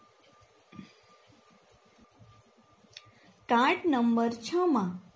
card Number છ માં